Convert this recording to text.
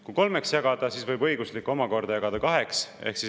Kui kolmeks jagada, siis võib õigusliku probleemi omakorda jagada kaheks.